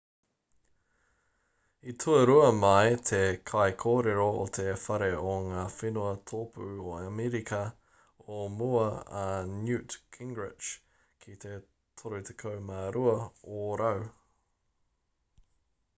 i tuarua mai te kaikōrero o te whare o ngā whenua tōpū o amerika o mua a newt gingrich ki te 32 ōrau